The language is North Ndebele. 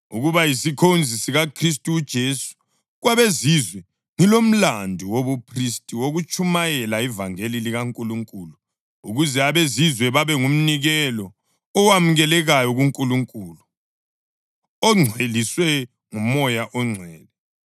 ukuba yisikhonzi sikaKhristu uJesu kwabeZizwe ngilomlandu wobuphristi wokutshumayela ivangeli likaNkulunkulu ukuze abeZizwe babe ngumnikelo owamukelekayo kuNkulunkulu, ongcweliswe nguMoya oNgcwele.